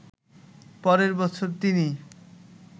পরের বছর তিনি